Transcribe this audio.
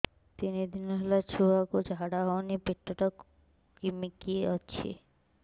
ତିନି ଦିନ ହେଲା ଛୁଆକୁ ଝାଡ଼ା ହଉନି ପେଟ ଟା କିମି କି ଅଛି